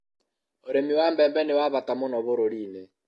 ũrĩmi wa mbembe ni wa bata mũno bũrũri-ini